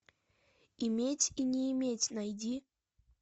иметь и не иметь найди